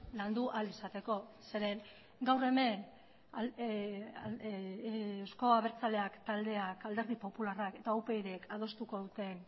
landu ahal izateko zeren gaur hemen euzko abertzaleak taldeak alderdi popularrak eta upyd k adostuko duten